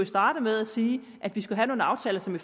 starte med at sige at vi skal have nogle aftaler som vi